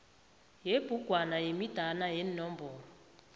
yebhugwana yemidana yeenomboro